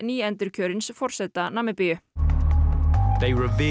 nýendurkjörins forseta Namibíu